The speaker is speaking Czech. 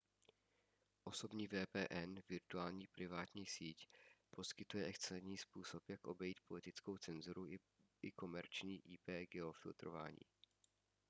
osobní vpn virtuální privátní síť poskytuje excelentní způsob jak obejít politickou cenzuru i komerční ip geofiltrování